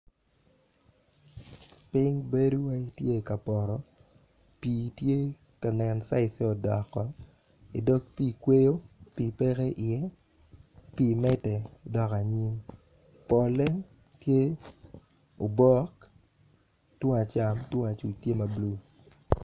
Piny bedo iwaci tye ka poto pii tye ka nen caije odoko idog pii kweyo pii peke iye pii medde dok anyim polle tye ma obok tung acam tung acuc tye ma blue.